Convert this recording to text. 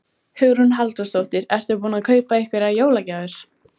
Hugrún Halldórsdóttir: Ertu búinn að kaupa einhverjar jólagjafir?